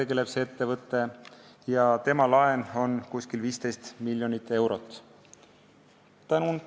Selle ettevõtte laen on umbes 15 miljonit eurot.